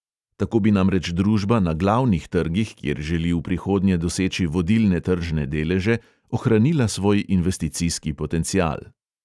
Tako bi namreč družba na glavnih trgih, kjer želi v prihodnje doseči vodilne tržne deleže, ohranila svoj investicijski potencial.